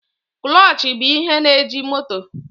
Kụlọchị bụ ihe na-eji moto.